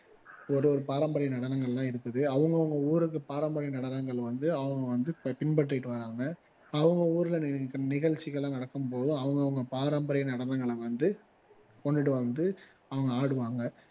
ஒரு ஒரு பாரம்பரிய நடனங்கள் எல்லாம் இருக்குது அவங்க அவங்க ஊருக்கு பாரம்பரிய நடனங்கள் வந்து அவங்க வந்து பின்பற்றிட்டு வர்றாங்க அவங்க ஊர்ல நி நிகழச்சிகள் எல்லாம் நடக்கும் போது அவங்க அவங்க பாரம்பரிய நடனங்களை வந்து கொண்டுட்டு வந்து அவங்க ஆடுவாங்க